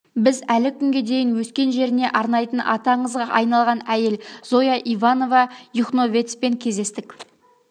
біз әлі күнге дейін өскен жеріне арнайтын аты аңызға айналған әйел зоя иванова юхновецпен кездестік